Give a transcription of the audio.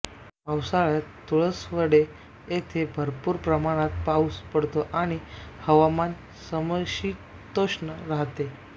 पावसाळ्यात तुळसवडे येथे भरपूर प्रमाणात पाऊस पडतो आणि हवामान समशीतोष्ण राहते